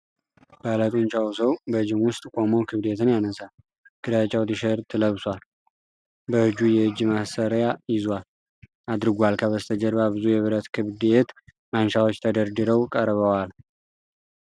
ባለጡንቻው ሰው በጂም ውስጥ ቆሞ ክብደትን ያነሳል። ግራጫ ቲሸርት ለብሷል፤ በእጁ የእጅ ማሰሪያ አድርጓል። ከበስተጀርባ ብዙ የብረት ክብደት ማንሻዎች ተደርድረው ቀርበዋል።